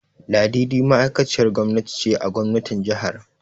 Ladidi ma'aikaciyar gwamnati ce a gwamnatin jihar.